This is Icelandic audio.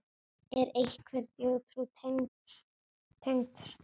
Er einhver þjóðtrú tengd stara?